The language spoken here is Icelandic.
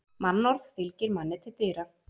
Mannorð fylgir manni til dyra.